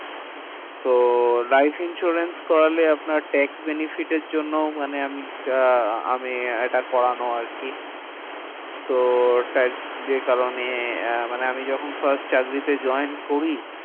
তো life insurance করালে আপনার tax benefit এর জন্যও মানে আমি আহ আমি এটা করানো আরকি। হম তো যে কারণে আহ মানে আমি যখন first চাকরিতে join করি,